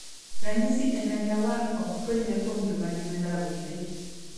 Ranyisi e lenda wang' ok fwenyre kuom joma gi rawere.